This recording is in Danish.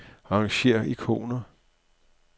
Arrangér ikoner.